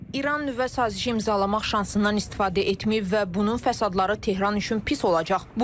İran nüvə sazişi imzalamaq şansından istifadə etməyib və bunun fəsadları Tehran üçün pis olacaq.